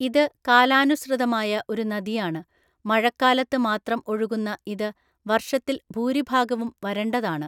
ഇത് കാലാനുസൃതമായ ഒരു നദിയാണ്, മഴക്കാലത്ത് മാത്രം ഒഴുകുന്ന ഇത് വർഷത്തിൽ ഭൂരിഭാഗവും വരണ്ടതാണ്.